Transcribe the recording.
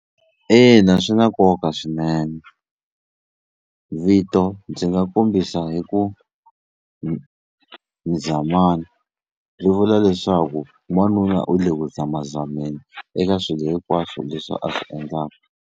Ina swi na nkoka swinene vito ndzi nga kombisa hi ku Mzamani swi vula leswaku n'wanuna u le ku zamazameni eka swilo hinkwaswo leswi a swi endlaka.